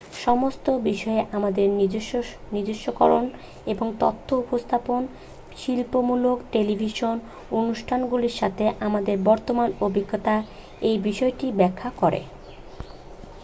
সমস্ত বিষয়ে আমাদের নিজস্বকরণ এবং তথ্য উপস্থাপন শিক্ষামূলক টেলিভিশন অনুষ্ঠানগুলির সাথে আমাদের বর্তমান অভিজ্ঞতার এই বিষয়টিকে ব্যাখ্যা করে